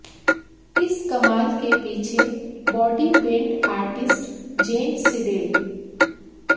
इस कमाल के पीछे बॉडी पेंट आर्टिस्ट जेन सिडेल